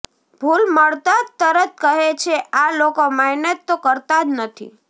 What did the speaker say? ભૂલ મળતાં જ તરત કહે છે આ લોકો મહેનત તો કરતાં જ નથી